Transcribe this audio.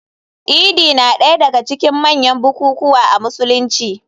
Idi na daya daga cikin manyan bukukuwa a Musulunci.